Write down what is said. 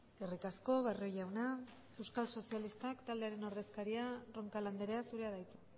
eskerrik asko barrio jauna euskal sozialistak taldearen ordezkaria roncal andrea zurea da hitza